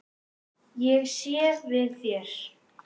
Ég sé við þér.